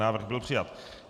Návrh byl přijat.